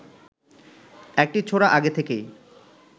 একটি ছোরা আগে থেকেই